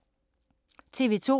TV 2